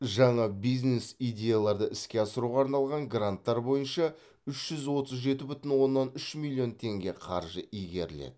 жаңа бизнес идеяларды іске асыруға арналған гранттар бойынша үш жүз отыз жеті бүтін оннан үш миллион теңге қаржы игеріледі